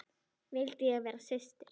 Við rísum á fætur.